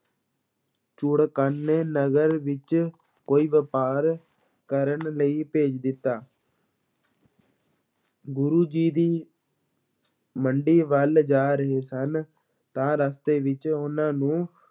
ਚੂਹੜਕਾਨੇ ਨਗਰ ਵਿੱਚ ਕੋਈ ਵਪਾਰ ਕਰਨ ਲਈ ਭੇਜ ਦਿੱਤਾ ਗੁਰੂ ਜੀ ਦੀ ਮੰਡੀ ਵੱਲ ਜਾ ਰਹੇ ਸਨ, ਤਾਂ ਰਸਤੇ ਵਿੱਚ ਉਹਨਾਂ ਨੂੰ